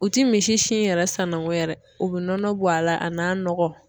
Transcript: U ti misi sin yɛrɛ sannango yɛrɛ o be nɔnɔ bɔ a la a n'a nɔgɔ